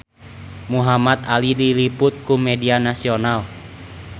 Muhamad Ali diliput ku media nasional